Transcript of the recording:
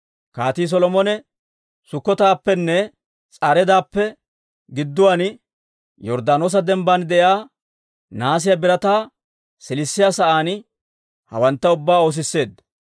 Kaatii Solomone Sukkotappenne S'areedappe gidduwaan, Yorddaanoosa dembban de'iyaa nahaasiyaa birataa siilissiyaa sa'aan hawantta ubbaa oosisseedda.